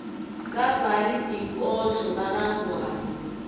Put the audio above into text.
babhali tinkhondlo bakangwane